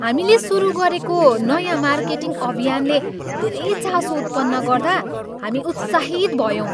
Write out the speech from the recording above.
हामीले सुरु गरेको नयाँ मार्केटिङ अभियानले धेरै चासो उत्पन्न गर्दा हामी उत्साहित भयौँ।